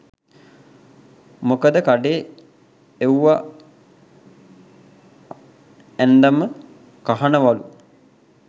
මොකද කඩේ එව්ව ඇන්දම කහනවලු